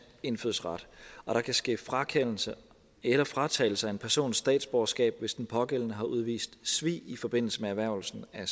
indfødsret og der kan ske frakendelse eller fratagelse af en persons statsborgerskab hvis den pågældende har udvist svig i forbindelse med erhvervelsen af